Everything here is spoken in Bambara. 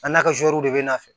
A n'a ka bɛ n'a nɔfɛ